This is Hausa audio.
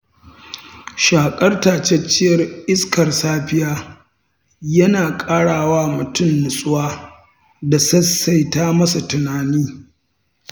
Shaƙar tatacciyar iskar safiya yana ƙarawa mutum nutsuwa da saisaita ma sa tunani.